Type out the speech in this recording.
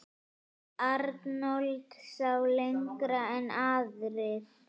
Arnold sá lengra en aðrir.